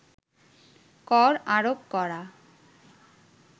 কর আরোপ করা